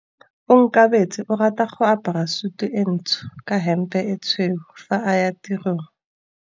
Onkabetse o rata go apara sutu e ntsho ka hempe e tshweu fa a ya tirong.